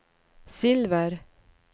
silver